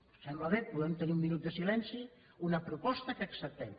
els sembla bé podem tenir un minut de silenci una proposta que acceptem